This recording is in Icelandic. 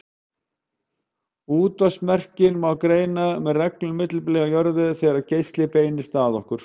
Útvarpsmerkin má greina með reglulegu millibili á jörðu þegar geislinn beinist að okkur.